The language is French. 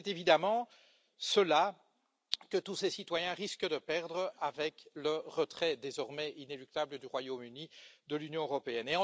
C'est évidemment cela que tous ces citoyens risquent de perdre avec le retrait désormais inéluctable du Royaume Uni de l'Union européenne.